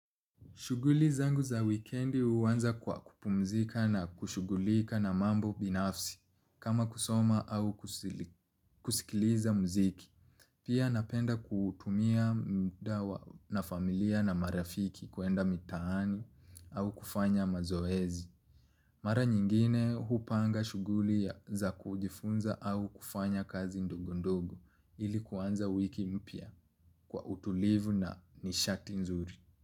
Shughuli zangu za wikendi huanza kwa kupumzika na kushughulika na mambo binafsi kama kusoma au kusikiliza mziki. Pia napenda kuutumia muda wa na familia na marafiki kuenda mitaani au kufanya mazoezi. Mara nyingine hupanga shughuli za kujifunza au kufanya kazi ndogondogo ili kuanza wiki mpya kwa utulivu na nishati nzuri.